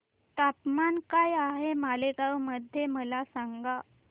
तापमान काय आहे मालेगाव मध्ये मला सांगा